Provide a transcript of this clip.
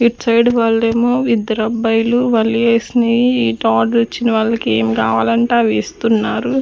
ఇట్సైడ్ వాళ్లేమో ఇద్దరబ్బాయిలు వాళ్ళు ఎస్నేయి ఇటు ఆర్డర్ ఇచ్చిన వాళ్ళకి ఏం కావాలంటే అవి ఇస్తున్నారు.